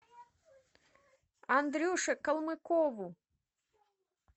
андрюше колмыкову